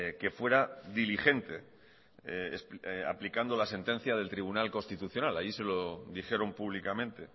que fuera diligente aplicando la sentencia del tribunal constitucional allí se lo dijeron públicamente